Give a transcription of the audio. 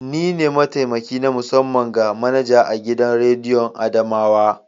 Ni ne mataimaki na musamman ga manaja a gidan rediyon adamawa.